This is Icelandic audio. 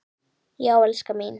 Já, elskan mín!